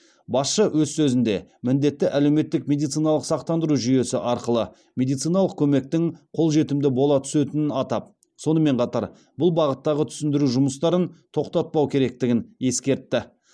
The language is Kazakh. басшы өз сөзінде міндетті әлеуметтік медициналық сақтандыру жүйесі арқылы медициналық көмектің қол жетімді бола түсетінін атап сонымен қатар бұл бағыттағы түсіндіру жұмыстарын тоқтатпау керектігін ескертті